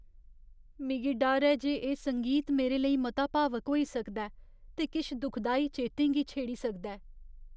मिगी डर ऐ जे एह् संगीत मेरे लेई मता भावुक होई सकदा ऐ ते किश दुखदाई चेतें गी छेड़ी सकदा ऐ।